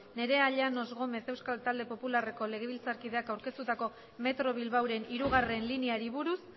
nerea llanos gómez euskal talde popularreko legebiltzarkideak aurkeztua metro bilbaoren hirugarrena lineari buruz